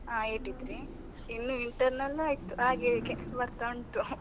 ಹಾ, eighty-three ಇನ್ನು internal ಆಯ್ತು ಆಗ್ಲಿಕ್ಕೆ ಬರ್ತಾ ಉಂಟು .